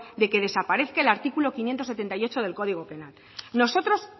de que desaparezca el artículo quinientos setenta y ocho del código penal nosotros